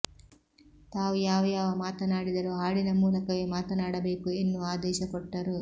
ತಾವು ಯಾವ ಮಾತನಾಡಿದರೂ ಹಾಡಿನ ಮೂಲಕವೇ ಮಾತನಾಡಬೇಕು ಎನ್ನುವ ಆದೇಶ ಕೊಟ್ಟರು